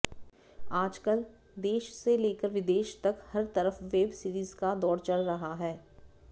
आजकल देश से लेकर विदेश तक हर तरफ वेब सीरीज का दौड़ चल रहा है